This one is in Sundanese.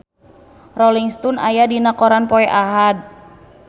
Rolling Stone aya dina koran poe Ahad